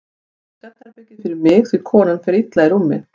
Ég tek svefnherbergið fyrir mig því konan fer illa í rúmi.